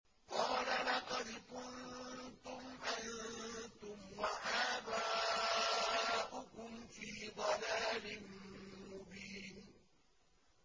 قَالَ لَقَدْ كُنتُمْ أَنتُمْ وَآبَاؤُكُمْ فِي ضَلَالٍ مُّبِينٍ